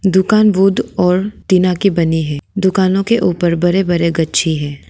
दुकान बुट और टीना की बनी है दुकानों के ऊपर बरे बरे गच्छे हैं।